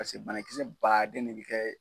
Paseke banakisɛ ba den de bɛ kɛ.